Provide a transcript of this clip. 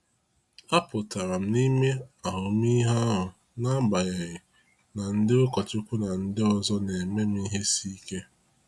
A pụtara m n’ime ahụmịhe ahụ n’agbanyeghị na ndị ụkọchukwu na ndị ọzọ na-eme m ihe isi ike.